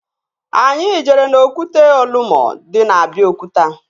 Anyị jere n'okwute Olumo dị na Abiokuta